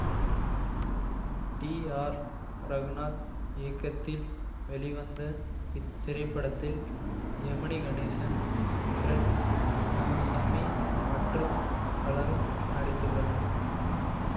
D R Raghunath இயக்கத்தில் வெளிவந்த இத்திரைப்படத்தில் ஜெமினி கணேசன் பிரண்ட் ராமசாமி மற்றும் பலரும் நடித்துள்ளனர்